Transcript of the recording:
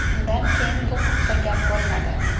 Undan keyin bu haqda gap bo‘lmadi.